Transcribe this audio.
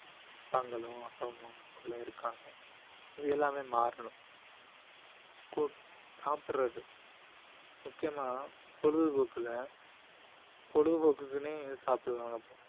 அப்பாங்களும் அப்பா அம்மாக்குள்ள இருக்காங்க அது எல்லாமே மாறணும் சாப்பிடுறது முக்கியமா பொழுதுபோக்குல பொழுதுபோக்குக்குன்னே சாப்பிடுவாங்க பசங்க